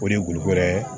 O de ye golo ye